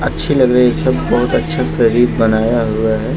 अच्छी लग रही ये सब बहोत अच्छे से भी बनाया हुआ है।